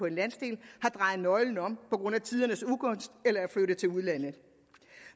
en landsdel har drejet nøglen om på grund af tidernes ugunst eller er flyttet til udlandet